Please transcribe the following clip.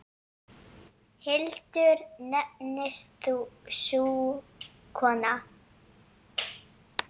Hildur nefnist sú kona.